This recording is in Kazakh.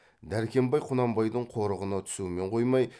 дәркембай құнанбайдың қорығына түсумен қоймай